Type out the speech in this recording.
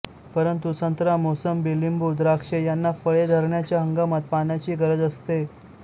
परंतु संत्रा मोसंबी लिंबू द्राक्षे यांना फळे धरण्याच्या हंगामात पाण्याची गरज असते